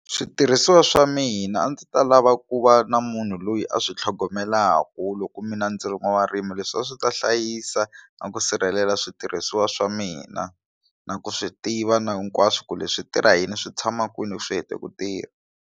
Switirhisiwa swa mina a ndzi ta lava ku va na munhu loyi a swi tlhogomelaku loko mina ndzi ri n'wavurimi leswi a swi ta hlayisa na ku sirhelela switirhisiwa swa mina na ku swi tiva na hinkwaswo ku leswi switirha yini swi tshama kwini loko swi hete ku tirha.